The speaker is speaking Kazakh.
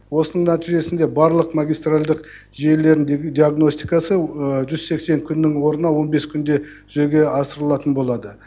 осының нәтижесінде барлық магистральдік желілерінің диагностикасы жүз сексен күннің орнына он бес күнде жүзеге асырылатын болады